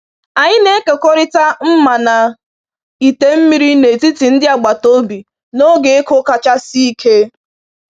Anyị na-ekekọrịta mma na ite mmiri n’etiti ndị agbata obi n’oge ịkụ kacha sie ike.